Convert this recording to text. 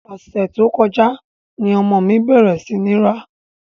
Ọ̀sẹ̀ tó kọjá ni ọmọ mi bẹ̀rẹ̀ sí ní ń rá.